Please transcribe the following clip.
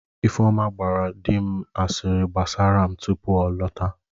Ifeoma gbaara di m asịrị gbasara m tupu m alọta